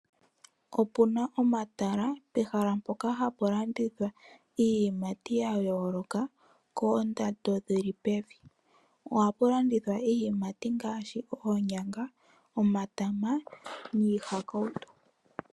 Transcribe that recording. Opuna omatala pehala mpoka hapu landithwa iiyimati ya yooloka koondando dhili pevi. Ohapu landithwa iiyimati ngaashi oonyanga, omatama niihakauto.